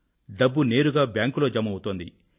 డబ్బు నేరుగా బ్యాంక్ లో జమ అవుతోంది